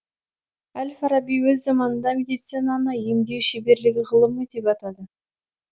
әл фараби өз заманында медицинаны емдеу шеберлігі ғылымы деп атады